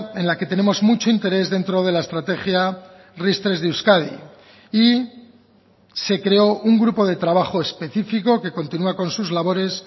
en la que tenemos mucho interés dentro de la estrategia ris tres de euskadi y se creó un grupo de trabajo específico que continúa con sus labores